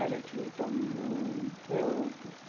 A gente lutou muito. Eu